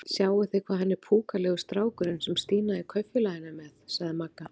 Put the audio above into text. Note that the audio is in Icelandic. Sjáið þið hvað hann er púkalegur strákurinn sem Stína í Kaupfélaginu er með? sagði Magga.